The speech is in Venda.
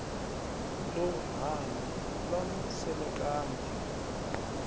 ḽo hana ḽa mu semekanya